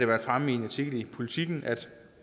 været fremme i en artikel i politiken